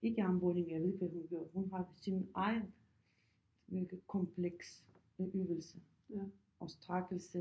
Ikke armbøjninger ved ikke hvad hun gør hun har sin egen kompleks med øvelse og strækkelse